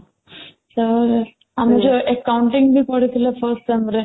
ଏଁ ଆମର ଯୋଉ accounting ପଢ଼େଇ ଥିଲେ fast SEM ରେ